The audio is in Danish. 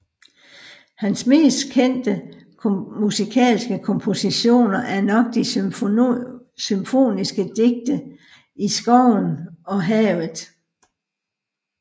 Hans mest kendte musikalske kompositioner er nok de symfoniske digte I skoven og Havet